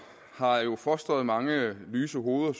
har jo fostret mange lyse hoveder